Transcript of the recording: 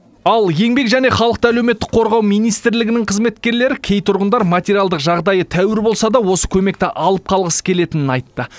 ал еңбек және халықты әлеуметтік қорғау министрлігінің қызметкерлері кей тұрғындар материалдық жағдайы тәуір болса да осы көмекті алып қалғысы келетінін айтты